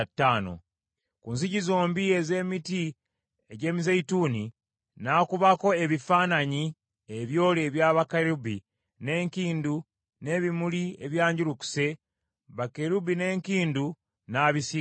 Ku nzigi zombi ez’emiti egy’emizeeyituuni n’akubako ebifaananyi ebyole ebya bakerubi, n’enkindu, n’ebimuli ebyanjulukuse, bakerubi n’enkindu n’abisiiga zaabu.